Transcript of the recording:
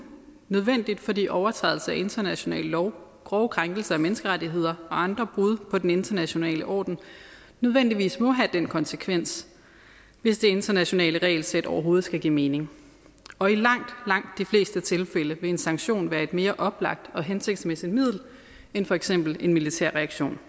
nødvendigt fordi overtrædelser af international lov grove krænkelser af menneskerettigheder og andre brud på den internationale orden nødvendigvis må have den konsekvens hvis det internationale regelsæt overhovedet skal give mening og i langt langt de fleste tilfælde vil en sanktion være et mere oplagt og hensigtsmæssigt middel end for eksempel en militær reaktion